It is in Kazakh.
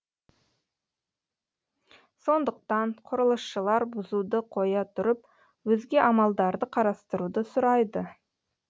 сондықтан құрылысшылар бұзуды қоя тұрып өзге амалдарды қарастыруды сұрайды